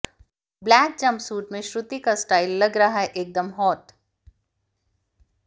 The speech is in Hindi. ब्लैक जंपसूट में श्रुति का स्टाइल लग रहा है एकदम हॉट